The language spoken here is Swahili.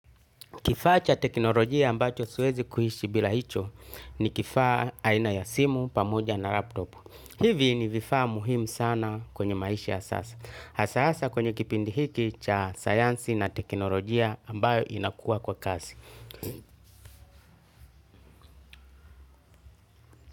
Kifaa cha teknolojia ambacho siwezi kuishi bila hicho, ni kifaa aina ya simu, pamoja na laptop. Hivi ni vifaa muhimu sana kwenye maishi ya sasa. Cha sasa kwenye kipindi hiki cha sayansi na teknolojia ambayo inakuwa kwa kasi.